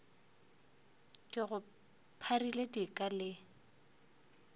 ke go pharile dika le